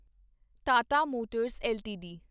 Tata motors LTD